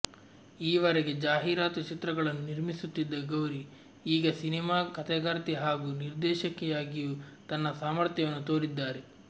ಈವರೆಗೆ ಜಾಹೀರಾತು ಚಿತ್ರಗಳನ್ನು ನಿರ್ಮಿಸುತ್ತಿದ್ದ ಗೌರಿ ಈಗ ಸಿನೇಮಾ ಕತೆಗಾರ್ತಿ ಹಾಗೂ ನಿರ್ದೇಶಕಿಯಾಗಿಯೂ ತನ್ನ ಸಾಮರ್ಥ್ಯವನ್ನು ತೋರಿಸಿದ್ದಾರೆ